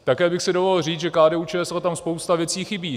Také bych si dovolil říct, že KDU-ČSL tam spousta věcí chybí.